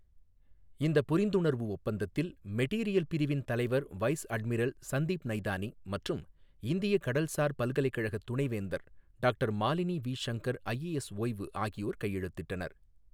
இந்தப் புரிந்துணர்வு ஒப்பந்தத்தில் மெட்டீரியல் பிரிவின் தலைவர் வைஸ் அட்மிரல் சந்தீப் நைதானி மற்றும் இந்திய கடல்சார் பல்கலைக்கழக துணைவேந்தர் doctor Malini V Shankar, IAS ஓய்வு ஆகியோர் கையெழுத்திட்டனர்.